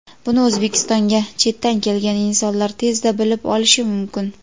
Buni O‘zbekistonga chetdan kelgan insonlar tezda bilib olishi mumkin.